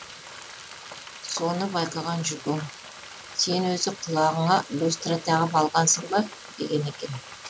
соны байқаған жүкең сен өзі құлағыңа люстра тағып алғансың ба деген екен